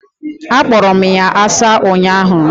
Akporo m ya asa ụnyahụ.